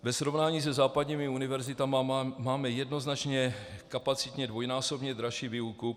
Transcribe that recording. Ve srovnání se západními univerzitami máme jednoznačně kapacitně dvojnásobně dražší výuku.